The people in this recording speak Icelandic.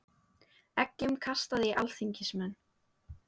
Eggjum kastað í alþingismenn